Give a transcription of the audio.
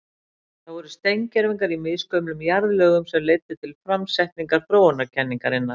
Það voru steingervingar í misgömlum jarðlögum sem leiddu til framsetningar þróunarkenningarinnar.